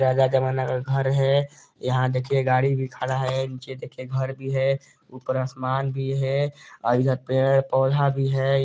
ये पुराना जमाना का घर है यहाँ देखिए गाड़ी भी खड़ा है निचे देखिए घर भी है ऊपर आसमान भी है और इधर पेड़-पौधा भी है।